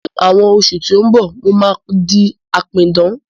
Ní àwọn oṣù tí ó ń bọ̀, mo máa di apidán